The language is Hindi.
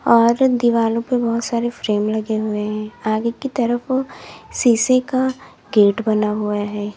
और दीवालो पर बहुत सारे फ्रेम लगे हुए हैं आगे की तरफ शीशे का गेट बना हुआ है।